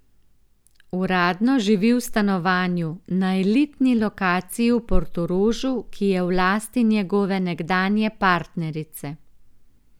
Uradno živi v stanovanju na elitni lokaciji v Portorožu, ki je v lasti njegove nekdanje partnerice.